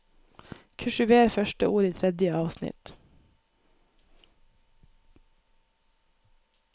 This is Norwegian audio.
Kursiver første ord i tredje avsnitt